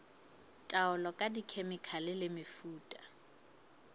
taolo ka dikhemikhale le mefuta